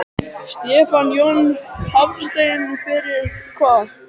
Stefán Jón Hafstein: Fyrir hvað?